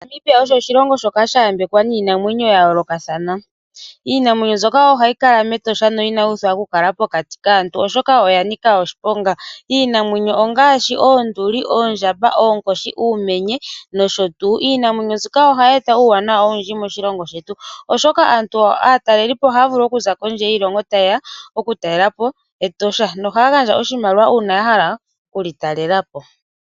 Namibia osho oshilongo shoka shayambwekwa niinamwenyo yayoolokathana. Iinamwenyo mbyoka ohayi kala mEtosha na inayuuthwa okukala pokati kaantu oshoka oyanika oshiponga. Iinamwenyo ongaashi oonduli, oondjamba, oonkoshi, uumenye nosho tu. Iinamwenyo mbyoka ohayi eta uuwanawa owundji moshilongo shetu, oshoka aantu, aataleli po ohaya vulu okuza kondje yiilongo ta ye ya okutalela po Etosha, na ohaya gandja oshimaliwa uuna yahala okuli talela po.